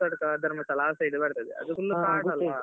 ಅದು ಸೌತಡ್ಕ ಧರ್ಮಸ್ಥಳ ಆ side ಬರ್ತದೆ .